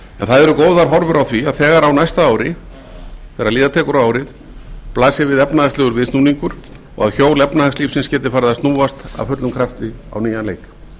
en það eru góðar horfur á því að þegar á næsta ári þegar líða tekur á árið blasi við efnahagslegur viðsnúningur og að hjól efnahagslífsins geti farið að snúast af fullum krafti á nýjan leik